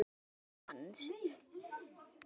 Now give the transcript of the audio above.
Hins vegar fannst